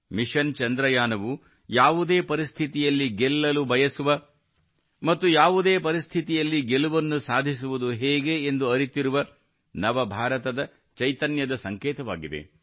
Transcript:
mission ಚಂದ್ರಯಾನವು ಯಾವುದೇ ಪರಿಸ್ಥಿತಿಯಲ್ಲಿ ಗೆಲ್ಲಲು ಬಯಸುವ ಮತ್ತು ಯಾವುದೇ ಪರಿಸ್ಥಿತಿಯಲ್ಲಿ ಗೆಲುವನ್ನು ಸಾಧಿಸುವುದು ಹೇಗೆ ಎಂದು ಅರಿತಿರುವ ನವ ಭಾರತದ ಚೈತನ್ಯದ ಸಂಕೇತವಾಗಿದೆ